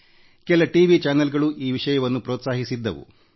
ಕೆಲ T V ವಾಹಿನಿಗಳೂ ಈ ವಿಷಯಕ್ಕೆ ಪ್ರೊತ್ಸಾಹಿಸಿದವು